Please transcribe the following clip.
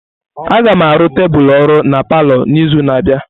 Agam arụ tebụl ọrụ na palọ n'izu na-abịa.